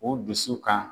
U dusu kan